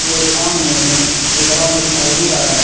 मेरे सामने एक ग्राउंड दिखाई दे रहा है।